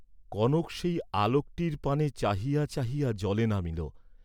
কনক সেই আলোকটির পানে চাহিয়া চাহিয়া জলে নামিল।